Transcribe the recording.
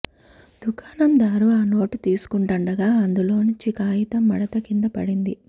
దుకాణందారు ఆ నోటు తీసుకుంటూండగా అందులోంచి కాగితం మడత కింద పడింది